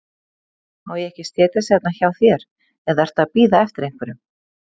Má ég ekki setjast hérna hjá þér, eða ertu að bíða eftir einhverjum?